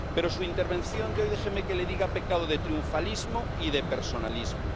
Pero su intervención de hoy —déjeme que le diga— ha pecado de triunfalismo y de personalismo.